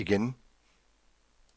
igen